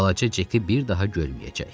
Balaca Ceki bir daha görməyəcək.